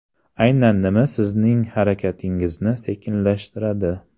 Aynan nima sizning harakatingizni sekinlashtiradi?